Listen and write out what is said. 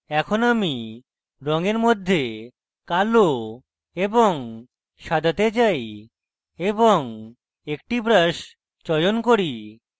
এখন আমি রঙের মধ্যে কালো এবং সাদাতে যাই এবং একটি brush চয়ন করি